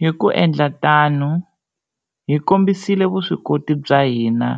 Hi ku endla tano, hi kombisile vuswikoti bya hina